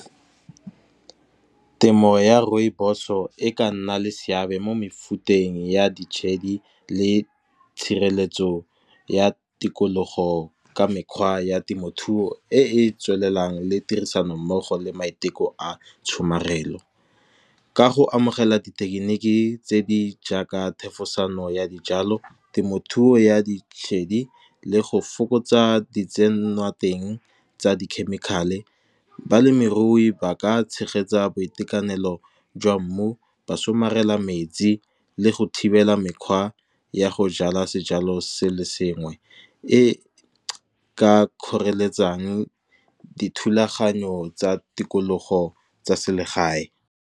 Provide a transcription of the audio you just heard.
Temo ya rooibos o e ka nna le seabe mo mefuteng ya ditshedi le tshireletso ya tikologo, ka mekgwa ya temothuo e e tswelelang le tirisanommogo le maiteko a tshomarelo. Ka go amogela dithekeniki tse di jaaka thefosano ya dijalo, temothuo ya ditshedi le go fokotsa di tsenwa teng tsa di-chemical-e. Balemirui ba ka tshegetsa boitekanelo jwa mmu ba somarela metsi le go thibela mekgwa ya go jala sejalo se le sengwe, e ka kgoreletsang dithulaganyo tsa tikologo tsa selegae.